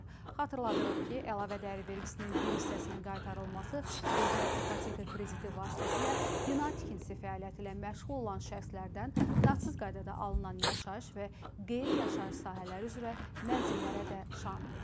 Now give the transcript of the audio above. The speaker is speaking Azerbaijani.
Xatırladırıq ki, əlavə dəyər vergisinin bir hissəsinin qaytarılması dövlət ipoteka krediti vasitəsilə bina tikintisi fəaliyyəti ilə məşğul olan şəxslərdən nağdsız qaydada alınan yaşayış və qeyri-yaşayış sahələri üzrə mənzillərə də şamil edilir.